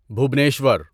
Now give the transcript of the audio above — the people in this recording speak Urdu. بھوبنیشور